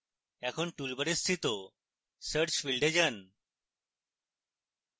এখন toolbar উপস্থিত search ফীল্ডে যান